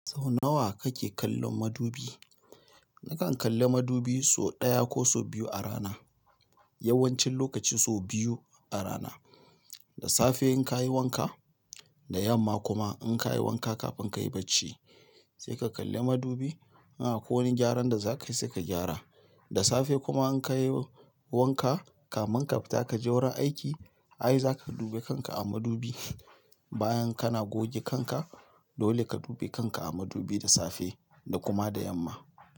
Sau nawa kake kallon madubi? Nakan kalli madubi so daya ko so biyu a rana. Yawan cin lokaci sau biyu a rana. Da safe in ka yi wanka, da yamma kuma in ka yi wanka kafin ka yi bacci sai ka kalli madubi. Idan akwai wani gyaran da zakai seka gyara. Da safe kuma in ka yi wanka kamin ka fita ka je wurin aiki, ai za ka dube kanka a madubi bayan kana goge kanka. Dole ka dube kanka a madubi da safe da kuma da yamma.